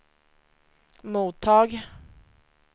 mottag